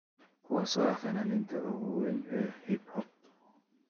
kuwaas oo ah fanaaniinta ugu weyn ee hip hop